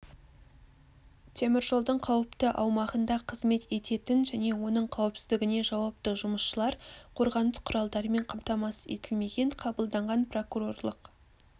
теміржолдың қауіпті аумағында қызмет ететін және оның қауіпсіздігіне жауапты жұмысшылар қорғаныс құралдарымен қамтамасыз етілмеген қабылданған прокурорлық